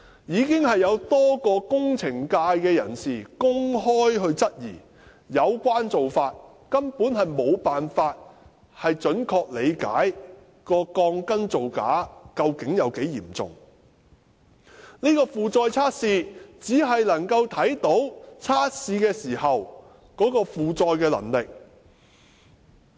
已經有多位工程界人士公開質疑有關做法根本無法準確理解鋼筋造假的嚴重程度，而負載測試只能夠看到測試時的負載能力。